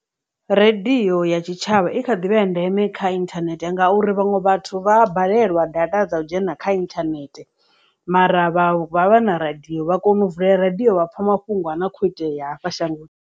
Radio ya tshitshavha i kha ḓivha ya ndeme kha inthanethe ngauri vhaṅwe vhathu vha balelwa data dza u dzhena kha internet mara vha vha vha na radio vha kona u vulea radiyo vha pfa mafhungo a na kho itea ya hafha shangoni.